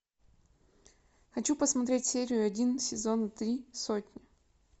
хочу посмотреть серию один сезона три сотня